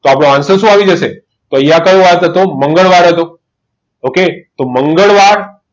આપણો answer શું આવી જશે અહીંયા કયો વાર હતો મંગળવાર હતો okay તો મંગળવાર